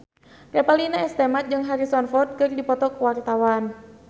Revalina S. Temat jeung Harrison Ford keur dipoto ku wartawan